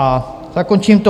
A zakončím to.